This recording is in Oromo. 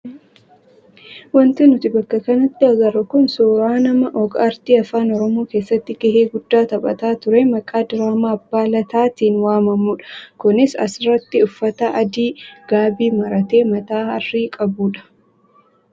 Wanti nuti bakka kanatti agarru kun suuraa nama og-aartii afaan oromoo keessatti gahee guddaa taphataa turee maqaa diraamaa abbaa lataatiin waamamudha. Kunis asirratti uffata adii gaabii maratee mataa harrii qabudha.